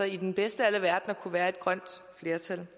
i den bedste af alle verdener kunne være et grønt flertal